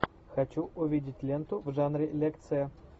хочу увидеть ленту в жанре лекция